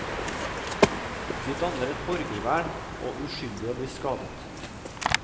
De danner et borgervern og uskyldige blir skadet.